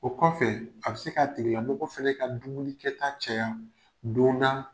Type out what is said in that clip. O kɔfɛ, a bɛ se ka tigilamɔgɔ fɛnɛ ka dumuni kɛ taa caya, don na